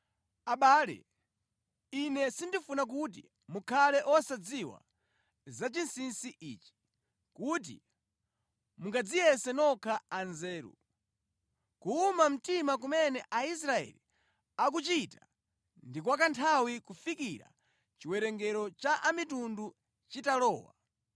Abale, ine sindifuna kuti mukhale osadziwa za chinsinsi ichi, kuti mungadziyese nokha anzeru. Kuwuma mtima kumene Aisraeli akuchita ndi kwa kanthawi kufikira chiwerengero cha a mitundu chitalowa.